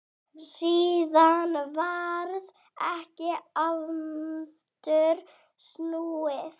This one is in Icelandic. Síðan varð ekki aftur snúið.